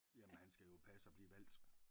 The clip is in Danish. Ja men han skal jo passe at blive valgt